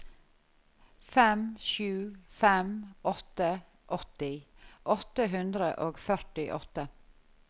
fem sju fem åtte åtti åtte hundre og førtiåtte